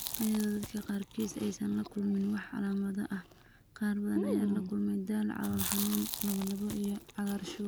Iyadoo dadka qaarkiis aysan la kulmin wax calaamado ah, qaar badan ayaa la kulma daal, calool xanuun, lallabbo, iyo cagaarshow.